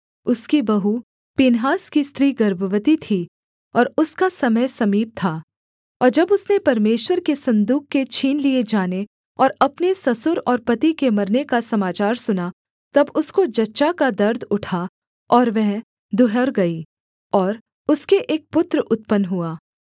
उसकी बहू पीनहास की स्त्री गर्भवती थी और उसका समय समीप था और जब उसने परमेश्वर के सन्दूक के छीन लिए जाने और अपने ससुर और पति के मरने का समाचार सुना तब उसको जच्चा का दर्द उठा और वह दुहर गई और उसके एक पुत्र उत्पन्न हुआ